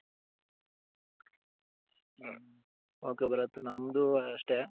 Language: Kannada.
okay ಭರತ್ ನಂದು ಅಷ್ಟೆ